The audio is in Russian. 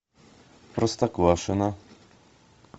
простоквашино